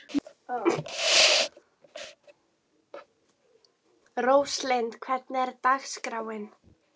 Róslind, hvernig er dagskráin?